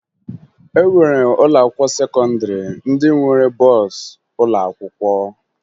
E nwere ụlọakwụkwọ sekọndịrị ndị nwere bọọsụ ụlọakwụkwọ